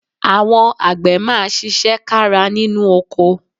Àwọn àgbẹ̀ máa ṣiṣẹ́ kára nínú oko